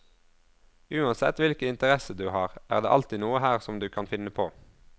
Uansett hvilken interesse du har er det alltid noe her som du kan finne på.